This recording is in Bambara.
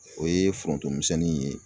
O ye foronto misɛnni in ye.